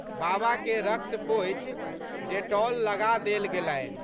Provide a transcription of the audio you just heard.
बाबाके रक्त पोछि डेटॉल लगा देल गेलनि।